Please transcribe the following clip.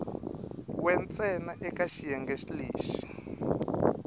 we ntsena eka xiyenge lexi